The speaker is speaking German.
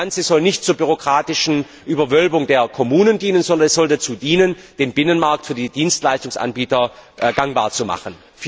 Das Ganze soll nicht zur bürokratischen Überwölbung der Kommunen dienen, sondern es soll dazu dienen, den Binnenmarkt für die Dienstleistungsanbieter gangbar zu machen.